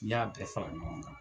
Ni y'a bɛɛ fara ɲɔgɔn kan